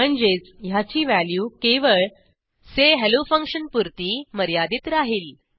म्हणजेच ह्याची व्हॅल्यू केवळ say hello फंक्शन पुरती मर्यादित राहिल